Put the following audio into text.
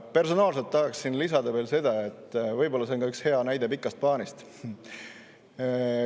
Personaalselt tahan lisada veel seda, et võib-olla see on üks hea näide pikast plaanist.